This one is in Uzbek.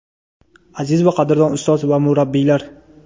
Aziz va qadrdon ustoz va murabbiylar!.